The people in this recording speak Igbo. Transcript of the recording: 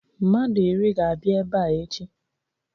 Mmadụ iri ga-abịa ebe a echi.